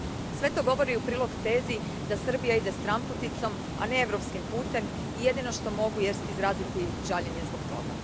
Sve to govori u prilog tezi da Srbija ide stranputicom, a ne europskim putem, i jedino što mogu jest izraziti žaljenje zbog toga.